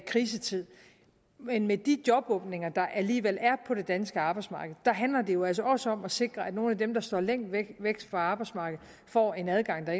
krisetid men med de jobåbninger der alligevel er på det danske arbejdsmarked handler det jo altså også om at sikre at nogle af dem der står længst væk fra arbejdsmarkedet får en adgang til